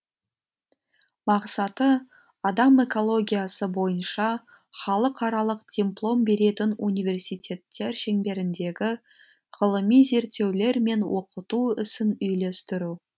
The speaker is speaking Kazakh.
мақсаты адам экологиясы бойынша халықаралық диплом беретін университеттер шеңберіндегі ғылыми зерттеулер мен оқыту ісін үйлестіру